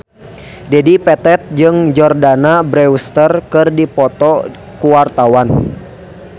Dedi Petet jeung Jordana Brewster keur dipoto ku wartawan